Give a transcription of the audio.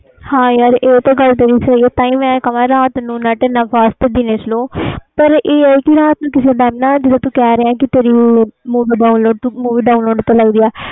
ਹਾਂ ਯਾਰ ਇਹ ਤੇਰੀ ਗੱਲ ਸਹੀ ਏ ਤਾਹਿ ਮੈਂ ਕਹਾ ਰਾਤ net fast ਨੂੰ ਦਿਨੇ slow ਇਹ ਵਾ ਰਾਤ ਨੂੰ ਕਿਸੇ ਜਿਵੇ ਤੂੰ ਕਹਿ ਰਹਿਆ ਵਾ movie download ਤੇ ਲਈ ਆ